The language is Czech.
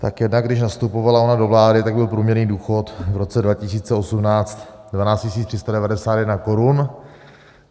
Tak jednak když nastupovala ona do vlády, tak byl průměrný důchod v roce 2018 12 391 korun.